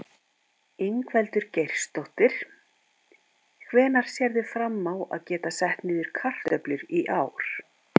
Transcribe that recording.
Ingveldur Geirsdóttir: Hvenær sérðu fram á að geta sett niður kartöflur í ár?